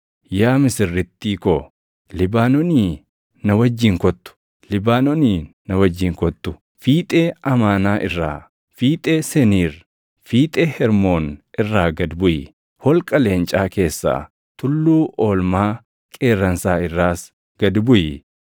Yaa misirrittii ko, Libaanoonii na wajjin kottu; Libaanoonii na wajjin kottu. Fiixee Amaanaa irraa, fiixee Seniir, fiixee Hermoon irraa gad buʼi; holqa leencaa keessaa, tulluu oolmaa qeerransaa irraas gad buʼi.